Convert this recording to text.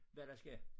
Hvad der sker